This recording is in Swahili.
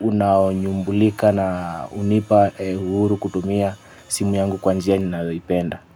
unaoyumbulika na hunipa uhuru kutumia simu yangu kwa njia ninayoipenda.